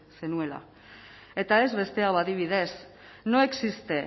zenuela eta ez beste hau adibidez no existe